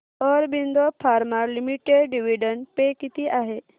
Aurobindo pharma limited dividend pay किती आहे